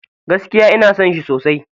Gaskia ina son shi sosai.